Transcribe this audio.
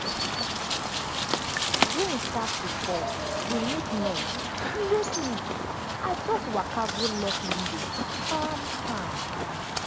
rain start to fall dey make noise e wake me. i just waka go lock window calm-calm.